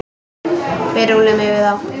Við rúllum yfir þá!